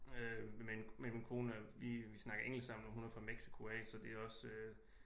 Med min kone vi snakker engelsk sammen hun er fra Mexico af så det er også øh